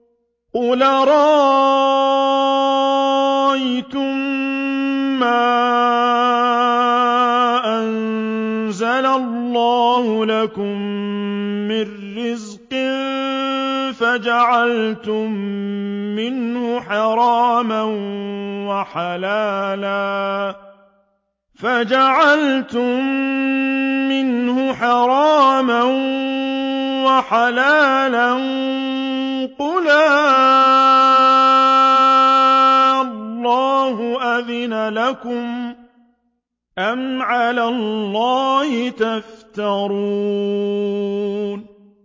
قُلْ أَرَأَيْتُم مَّا أَنزَلَ اللَّهُ لَكُم مِّن رِّزْقٍ فَجَعَلْتُم مِّنْهُ حَرَامًا وَحَلَالًا قُلْ آللَّهُ أَذِنَ لَكُمْ ۖ أَمْ عَلَى اللَّهِ تَفْتَرُونَ